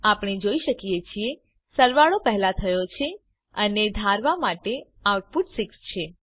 આપણે જોઈ શકીએ છીએ સરવાળો પહેલા થયો છે અને ધારવા પ્રમાણે આઉટપુટ 6 છે